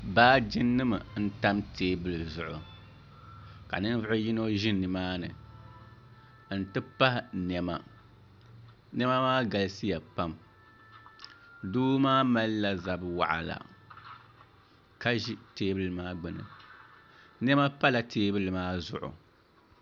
baaji nim n tam teebuli zuɣu ka ninvuɣu yino ʒi nimaani n ti pahi niɛma niɛma maa galisiya pam doo maa malila zabi waɣala ka ʒi teebuli maa gbuni niɛma pala teebuli maa zuɣu